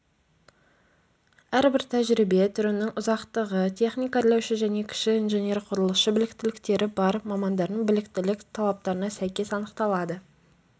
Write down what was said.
әрбір тәжірибе түрінің ұзақтығы техник-әрлеуші және кіші инженер-құрылысшы біліктіліктері бар мамандардың біліктілік талаптарына сәйкес анықталады